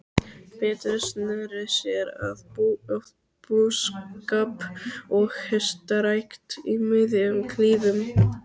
Pétur sneri sér að búskap og hestarækt í miðjum klíðum.